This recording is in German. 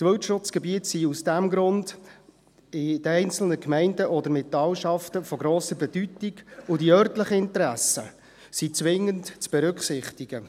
Wildschutzgebiete sind aus diesem Grund in den einzelnen Gemeinden oder Talschaften von grosser Bedeutung, und die örtlichen Interessen sind zwingend zu berücksichtigen.